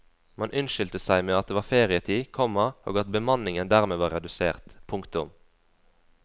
Man unnskyldte seg med at det var ferietid, komma og at bemanningen dermed var redusert. punktum